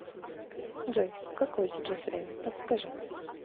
джой какое сейчас время подскажи